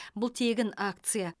бұл тегін акция